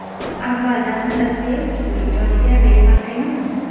Avvaldan Dostoyevskiy ijodiga befarq emasman.